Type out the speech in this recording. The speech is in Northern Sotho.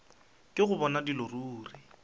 ke go bona dilo ruri